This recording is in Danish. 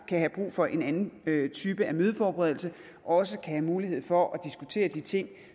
kan have brug for en anden type af mødeforberedelse og også skal have mulighed for at diskutere de ting